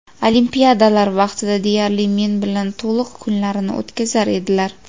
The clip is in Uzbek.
Olimpiadalar vaqtida deyarli men bilan to‘liq kunlarini o‘tkazar edilar.